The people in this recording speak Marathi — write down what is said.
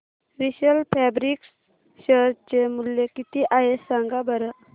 विशाल फॅब्रिक्स शेअर चे मूल्य किती आहे सांगा बरं